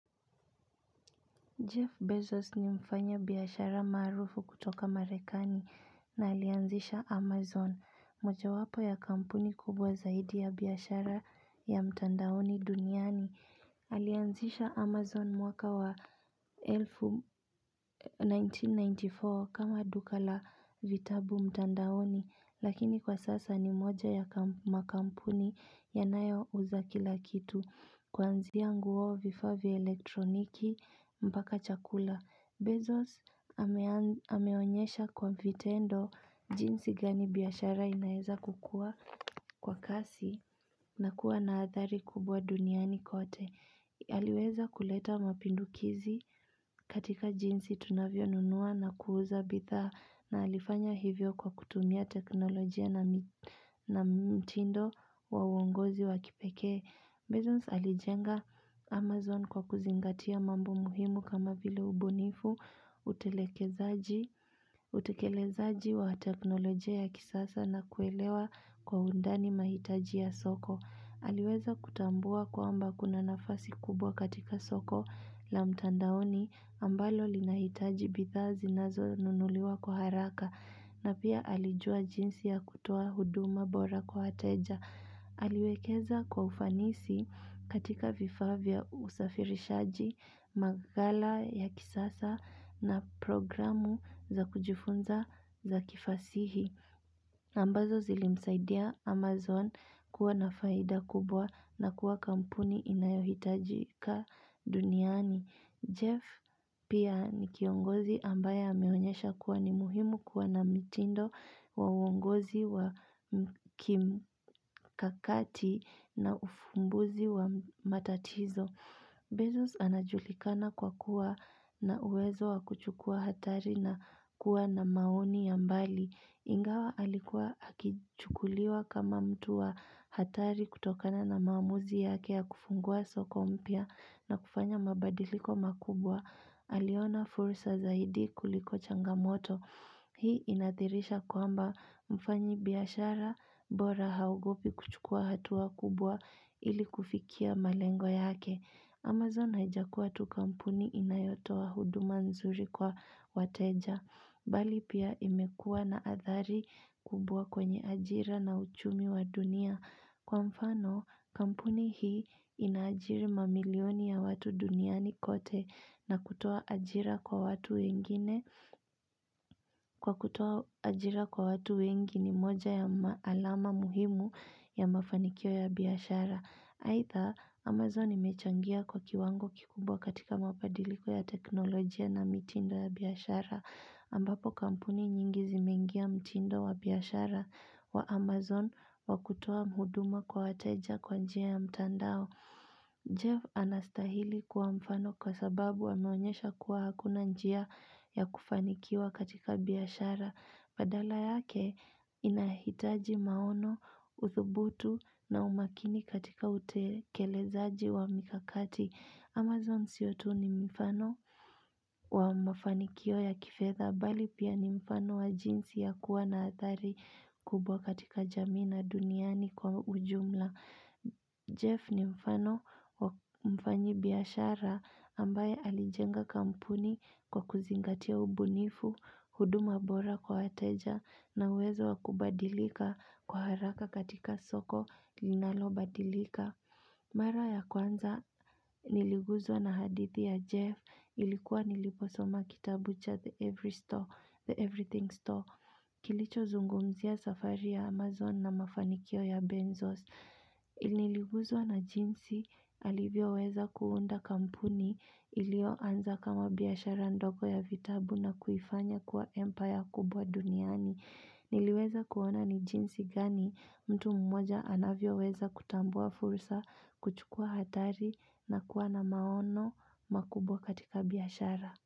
Jeff Bezos ni mfanya biyashara marufu kutoka Marekani na alianzisha Amazon, moja wapo ya kampuni kubwa zaidi ya biyashara ya mtandaoni duniani. Alianzisha Amazon mwaka wa 1994 kama duka la vitabu mtandaoni, lakini kwa sasa ni moja ya makampuni yanayo uza kilakitu. Kwanziya nguo vifa vya elektroniki mpaka chakula. Bezos hameonyesha kwa vitendo jinsi gani biyashara inaeza kukua kwa kasi na kuwa na athari kubwa duniani kote. Haliweza kuleta mapindukizi katika jinsi tunavyo nunua na kuuza bitha na alifanya hivyo kwa kutumia teknolojia na mtindo wa uongozi wa kipeke. Bezos alijenga Amazon kwa kuzingatia mambo muhimu kama vile ubunifu, utekelezaji wa teknolojia ya kisasa na kuelewa kwa undani mahitaji ya soko. Aliweza kutambua kwamba kuna nafasi kubwa katika soko la mtandaoni ambalo linahitaji bita zinazo nunuliwa kwa haraka. Na pia alijua jinsi ya kutuwa huduma bora kwa wateja. Aliwekeza kwa ufanisi katika vifavya usafirishaji, magala ya kisasa na programu za kujifunza za kifasihi. Ambazo zilimsaidia Amazon kuwa nafaida kubwa na kuwa kampuni inayohitaji ka duniani. Jeff pia ni kiongozi ambaya ameonyesha kuwa ni muhimu kuwa na mitindo wa uongozi wa kimkakati na ufumbuzi wa matatizo. Bezos anajulikana kwa kuwa na uwezo wa kuchukua hatari na kuwa na maoni yambali. Ingawa alikuwa hakichukuliwa kama mtu wa hatari kutokana na maamuzi yake ya kufungua soko mpia na kufanya mabadiliko makubwa. Aliona fursa zaidi kuliko changamoto. Hii inathirisha kwamba mfanyi biyashara bora haugopi kuchukua hatuwa kubwa ili kufikia malengo yake. Amazon haijakuwa tu kampuni inayotowa huduma nzuri kwa wateja. Bali pia imekua na athari kubwa kwenye ajira na uchumi wa dunia. Kwa mfano, kampuni hii inajiri mamilioni ya watu duniani kote na kutua ajira kwa watu wengine, kwa kutua ajira kwa watu wengi ni moja ya maalama muhimu ya mafanikio ya biyashara. Haitha, Amazon imechangia kwa kiwango kikumbwa katika mabadiliko ya teknolojia na mitindo ya biyashara, ambapo kampuni nyingi zimeingia mitindo wa biyashara wa Amazon wakutoa mhuduma kwa wateja kwa njia ya mtandao. Jeff anastahili kuwa mfano kwa sababu ameonyesha kuwa hakuna njia ya kufanikiwa katika biyashara Badala yake inahitaji maono, uthubutu na umakini katika utekelezaji wa mikakati Amazon sio tu ni mfano wa mafanikio ya kifedha Bali pia ni mfano wa jinsi ya kuwa na atari kubwa katika jamii na duniani kwa ujumla Jeff ni mfano mfanyi biyashara ambaye alijenga kampuni kwa kuzingatia ubunifu, huduma bora kwa wateja na uwezo wakubadilika kwa haraka katika soko linalo badilika Mara ya kwanza niliguzwa na hadithi ya Jeff ilikuwa niliposoma kitabu cha The Everything Store Kilicho zungumzia safari ya Amazon na mafanikio ya Benzos Ililiguzwa na jinsi alivyo weza kunda kampuni ilioanza kama biyashara ndoko ya vitabu na kuifanya kuwa empire kubwa duniani Niliweza kuona ni jinsi gani mtu mmoja anavyoweza kutambua fursa kuchukua hatari na kuwa na maono makubwa katika biyashara.